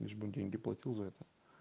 лишь бы деньги платил за это